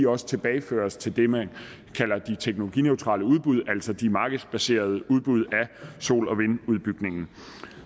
også tilbageføres til det man kalder de teknologineutrale udbud altså de markedsbaserede udbud af sol og vindudbygningen